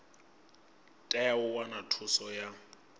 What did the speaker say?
tea u wana thuso ya